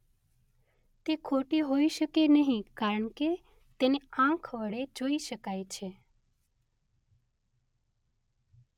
તે ખોટી હોઈ શકે નહીં કારણ કે તેને આંખ વડે જોઈ શકાય છે.